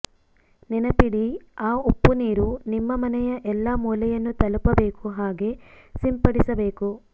ನೆನಪಿಡಿ ಆ ಉಪ್ಪು ನೀರು ನಿಮ್ಮ ಮನೆಯ ಎಲ್ಲಾ ಮೂಲೆಯನ್ನು ತಲುಪಬೇಕು ಹಾಗೆ ಸಿಂಪಡಿಸಬೇಕು